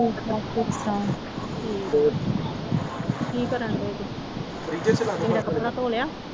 ਠੀਕ ਠਾਕ ਠੀਕ ਠਾਕ ਹੋਰ ਕੀ ਕਰਨ ਡੇ ਜੇ ਲੀੜਾ ਕੱਪੜਾ ਧੋ ਲਿਆ